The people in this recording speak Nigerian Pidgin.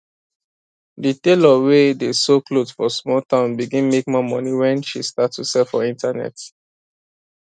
the tailor wey dey sew cloth for small town begin make more money when she start to sell for internet